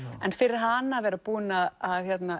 en fyrir hana að vera búin að